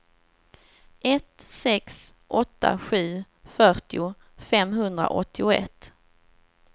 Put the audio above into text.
ett sex åtta sju fyrtio femhundraåttioett